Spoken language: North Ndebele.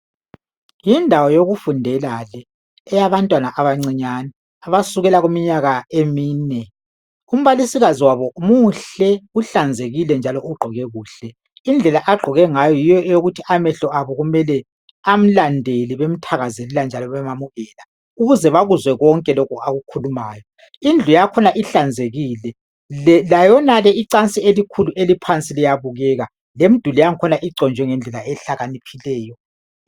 Yindawo yokufundela le eyabantwana abancinyana abasukela kuminyaka emine umbalisikazi wabo muhle njalo uhlanzekile njalo ugqoke kuhle indlela agqoke ngayo yiyo ukubana amehlo abo amlandele bemthakazelela njalo bemyamukela ukuze bakuzwe konke akukhulumayo indlu yakhona ihlanzekile layonale icansi eliphansi liyabukeka lemduli yakhona iconjwe ngendlela ehlakaniphileyo